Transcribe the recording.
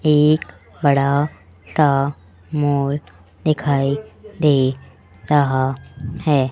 एक बड़ा सा मोर दिखाई दे रहा है।